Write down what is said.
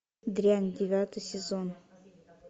дрянь девятый сезон